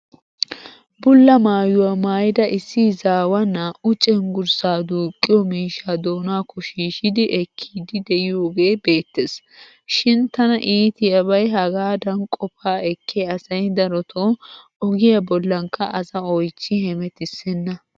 Bulla maayuwaa maayida issi izaawaa naa'u cenggurssaa duuqqiyo miishshaa doonaakko shiishshidi ekkiiddi de'iyoogee beettes. Shin tana iitiyabay hagaadan qofaa ekkiya asay darotoo ogiya bollankka as oychches hemetissenna.